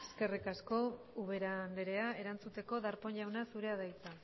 eskerrik asko ubera andrea erantzuteko darpón jauna zurea da hitza